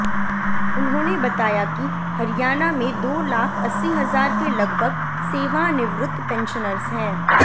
उन्होंने बताया की हरियाणा में दो लाख अस्सी हजार के लगभग सेवानिवृत्त पेंशनर्स हैं